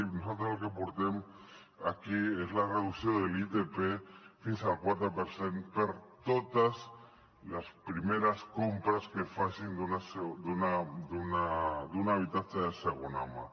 i nosaltres el que portem aquí és la reducció de l’itp fins al quatre per cent per a totes les primeres compres que es facin d’un habitatge de segona mà